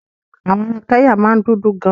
Àwọn ará Kẹ́nyà máa ń dúdú gan.